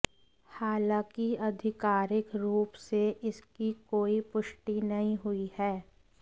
हालांकि आधिकारिक रूप से इसकी कोई पुष्टि नहीं हुई है